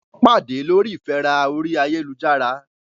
Wọ́n pàdé lórí ìfẹ́ra orí ayélujára.